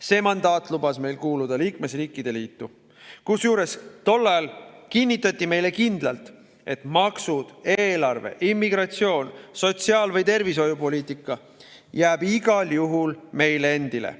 See mandaat lubas meil kuuluda liikmesriikide liitu, kusjuures tol ajal kinnitati meile kindlalt, et maksud, eelarve, immigratsioon, sotsiaal‑ või tervishoiupoliitika jäävad igal juhul meile endile.